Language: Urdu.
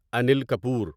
انیل کپور